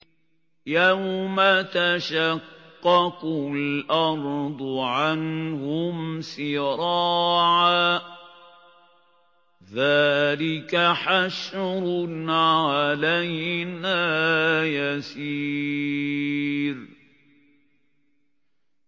يَوْمَ تَشَقَّقُ الْأَرْضُ عَنْهُمْ سِرَاعًا ۚ ذَٰلِكَ حَشْرٌ عَلَيْنَا يَسِيرٌ